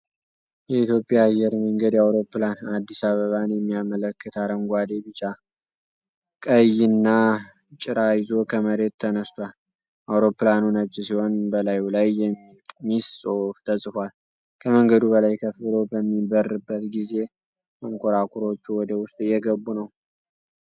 የኢትዮጵያ አየር መንገድ አውሮፕላን አዲስ አበባን የሚያመለክት አረንጓዴ፣ ቢጫ እና ቀይ ጭራ ይዞ ከመሬት ተነስቷል። አውሮፕላኑ ነጭ ሲሆን፤ በላዩ ላይ የሚል ቀይ ጽሑፍ ተጽፏል። ከመንገዱ በላይ ከፍ ብሎ በሚበርበት ጊዜ መንኮራኩሮቹ ወደ ውስጥ እየገቡ ነው።